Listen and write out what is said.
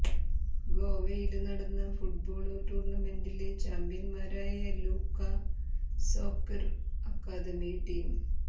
ഗോവയില് നടന്ന ഫുട്ബോള് ടൂര്ണമെന്റില് ചാമ്പ്യന്മാരായ ലൂക്കാ സോക്കര് അക്കാദമി ടീം